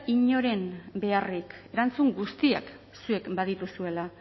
inoren beharrik erantzun guztiak zuek badituzuela